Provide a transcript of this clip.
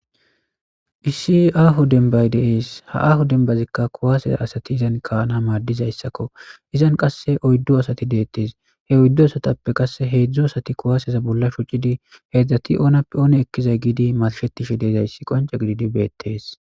issi aaho dembay deees ha aho dembazikka kuwaaseza asati izan kaana maaddizayssakko izan qasse oyddo asati deettees he oyddu asatappe qasse heedzdzo asati kuwaaseza bolla shucidi heedzdzati oonappe oone ekkizay giidi malshetishe deezayssi qonce gididi beettees